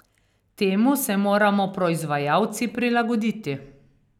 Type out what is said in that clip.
Temu se moramo proizvajalci prilagoditi.